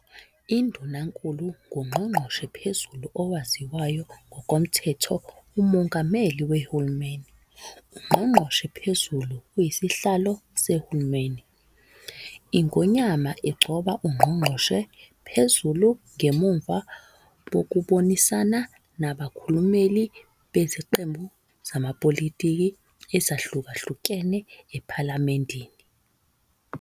Indunankulu nguNgqongqoshe Phezulu owaziwa ngokomthetho uMongameli weHulumeni. uNgqongqoshe Phezulu uyisihlalo seHulumeni. iNgonyama igcoba uNgqongqoshe Phezulu ngemuva kokubonisana nabakhulumeli beziqembi zamapolitiki ezihlukahlukene ePhalamendini.